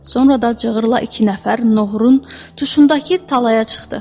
Sonra da cığırla iki nəfər noğrun tuşundakı talaya çıxdı.